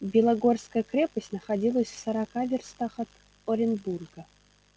белогорская крепость находилась в сорока вёрстах от оренбурга